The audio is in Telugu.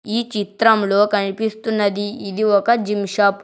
ఈ చిత్రంలో కనిపిస్తున్నది ఇది ఒక జిమ్ షాప్ .